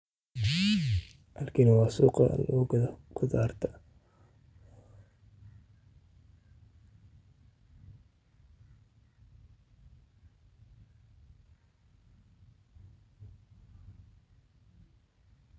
Halkani waa suuqa lagugatho qutharta.